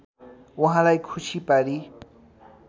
उहाँलाई खुसी पारी